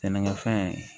Sɛnɛkɛfɛn